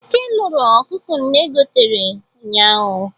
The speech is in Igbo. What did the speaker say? Eke loro ọkụkọ nne gotere ụnyaahụ.